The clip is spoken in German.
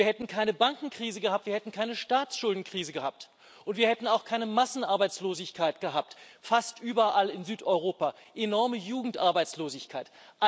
Wir hätten keine Bankenkrise gehabt, wir hätten keine Staatsschuldenkrise gehabt, und wir hätten auch keine Massenarbeitslosigkeit gehabt fast überall in Südeuropa enorme Jugendarbeitslosigkeit.